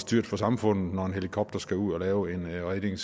dyrt for samfundet når en helikopter skal ud og lave en